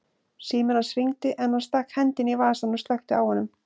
Síminn hans hringdi en hann stakk hendinni í vasann og slökkti á honum.